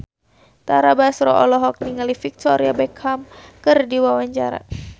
Tara Basro olohok ningali Victoria Beckham keur diwawancara